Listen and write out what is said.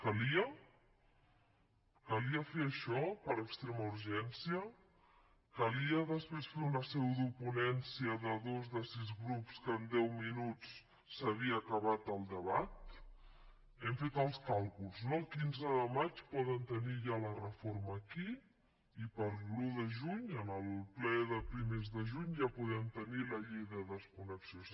calia calia fer això per extrema urgència calia després fer una pseudoponència de dos de sis grups que en deu minuts havien acabat el debat hem fet els càlculs no el quinze de maig poden tenir ja la reforma aquí i per l’un de juny en el ple de primers de juny ja podem tenir la llei de desconnexió